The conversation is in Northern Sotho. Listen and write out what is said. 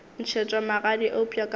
ntšhetšwa magadi eupša ka mo